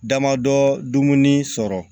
Damadɔ dumuni sɔrɔ